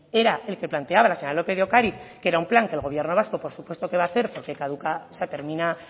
era el que planteaba la señora lópez de ocariz que era un plan que el gobierno vasco por supuesto que va a hacer porque se termina